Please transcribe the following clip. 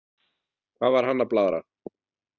Hvað var hann að blaðra?